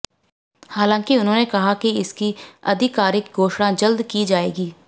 हालांकि उन्होंने कहा कि इसकी आधिकारिक घोषणा जल्द की जाएगी